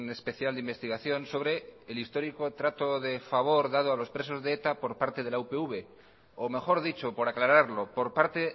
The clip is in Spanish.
especial de investigación sobre el histórico trato de favor dado a los presos de eta por parte de la upv o mejor dicho por aclararlo por parte